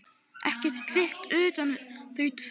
Ekkert kvikt utan þau tvö.